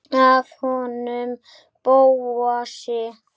Af honum Bóasi?